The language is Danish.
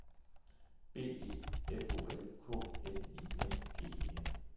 B E F O L K N I N G E N